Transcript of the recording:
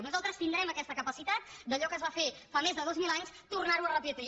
nosaltres tindrem aquesta capacitat d’allò que es va fer fa més de dos mil anys tornar ho a repetir